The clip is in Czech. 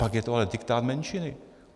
Pak je to ale diktát menšiny.